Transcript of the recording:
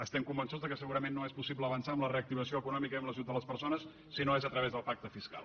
estem conven·çuts que segurament no és possible avançar en la reac·tivació econòmica i en l’ajut de les persones si no és a través del pacte fiscal